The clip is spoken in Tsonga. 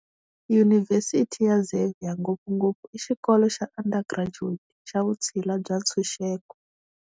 Yunivhesiti ya Xavier ngopfungopfu i xikolo xa undergraduate, xa vutshila bya ntshunxeko.